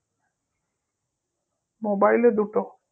Mobile এ দুটো